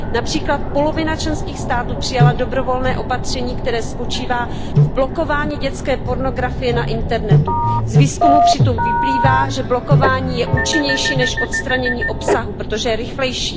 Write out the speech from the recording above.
Například polovina členských států přijala dobrovolné opatření, které spočívá v blokování dětské pornografie na internetu. Z výzkumu přitom vyplývá, že blokování je účinnější než odstranění obsahu, protože je rychlejší.